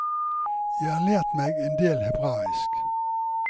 Jeg har lært meg endel hebraisk.